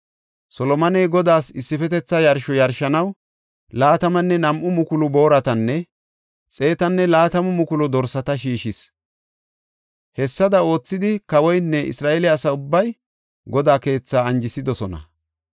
Solomoney Godaas issifetetha yarsho yarshanaw 22,000 booratanne 120,000 dorsata shiishis. Hessada oothidi kawoynne Isra7eele asa ubbay Godaa keethaa anjisidosona.